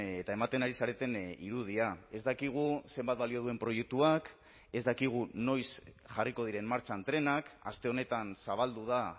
eta ematen ari zareten irudia ez dakigu zenbat balio duen proiektuak ez dakigu noiz jarriko diren martxan trenak aste honetan zabaldu da